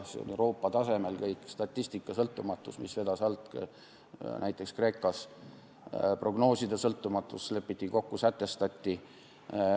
See oli kõik Euroopa tasemel, statistika sõltumatus, mis vedas alt näiteks Kreekas, prognooside sõltumatus lepiti kokku ja sätestati.